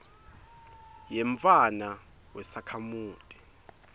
yemntfwana wesakhamuti